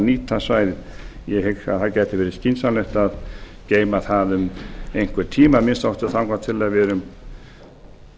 nýta svæðið ég hygg að það gæti verið skynsamlegt að geyma það um einhvern tíma að minnsta kosti þangað til